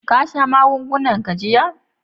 Kasha magunguna ka jiya?